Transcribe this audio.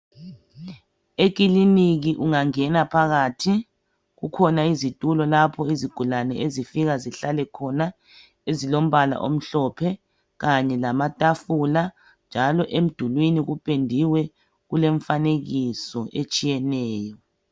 Ekilinika ungangena phakathi kukhona izitulo lapho izigulane ezifika zihlale khona, zilombala omhlophe kanye lamatafula njalo emdulini kupendiwe kulemifanekiso etshiyeneyo.